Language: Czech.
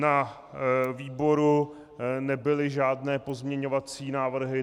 Na výboru nebyly žádné pozměňovací návrhy.